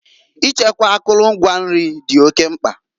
Ichekwa akụlụ ngwa nri di oke mkpa.